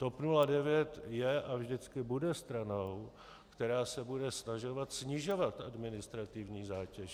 TOP 09 je a vždycky bude stranou, která se bude snažit snižovat administrativní zátěž.